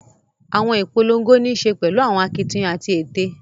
Awọn ipolongo nii ṣe pẹlu awọn akitiyan ati ete